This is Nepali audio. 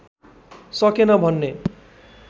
सकेन भन्ने